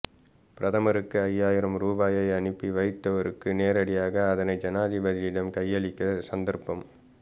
பிரதமருக்கு ஐயாயிரம் ரூபாயை அனுப்பி வைத்தவருக்கு நேரடியாக அதனை ஜனாதிபதியிடம் கையளிக்க சந்தர்ப்பம்